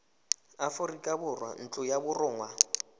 aforika borwa ntlo ya borongwa